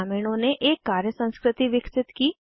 ग्रामीणों ने एक कार्य संस्कृति विकसित की